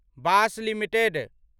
Bosch limited